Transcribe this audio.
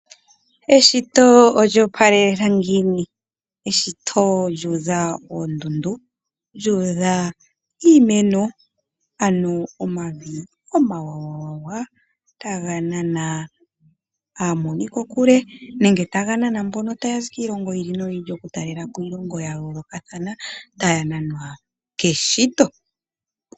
Eshito olya opalela ngiini? Eshito lyuudha oondundu, lyuudha iimeno, ano omavi omawawawa taga nana aamoni ko kule nenge taga nana mbono taya zi kiilongo yi ili noyi ili, oku talelapo iilongo ya yooloka thana , taya nanwa keshito.